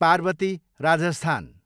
Parvati, Rajasthan